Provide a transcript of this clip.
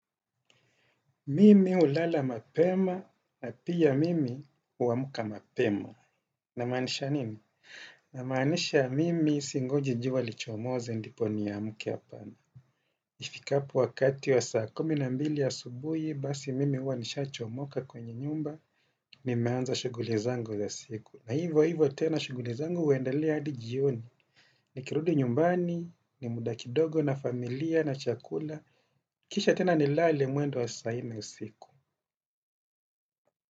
Mimi hulala mapema, na pia mimi huamka mapema. Namaanisha nini? Namaanisha mimi singoji jua lichomoze ndipo niamke hapana. Ifikapo wakati wa saa kumi na mbili asubuhi, basi mimi huwa nishaa chomoka kwenye nyumba, nimeanza shuguli zangu za siku. Na hivo hivo tena shuguli zango huendelea hadi jioni. Ni kirudi nyumbani, ni muda kidogo na familia na chakula. Kisha tena nilale muendo wa saa nne usiku.